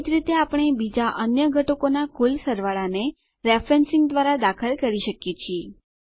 એજ રીતે આપણે બીજાં અન્ય ઘટકોનાં કુલ સરવાળાને રેફરેન્સિંગ દ્વારા દાખલ કરી શકીએ છીએ